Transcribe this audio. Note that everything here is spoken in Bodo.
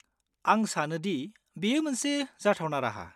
आं सानो दि बेयो मोनसे जाथावना राहा।